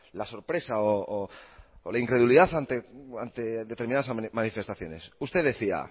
la sorpresa o la incredulidad ante determinadas manifestaciones usted decía